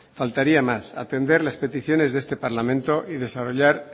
faltaría más atender las peticiones de este parlamento y desarrollar